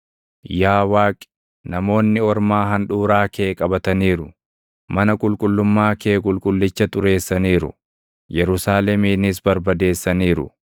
Yaa Waaqi, namoonni ormaa handhuuraa kee qabataniiru; mana qulqullummaa kee qulqullicha xureessaniiru; Yerusaaleminis barbadeessaniiru.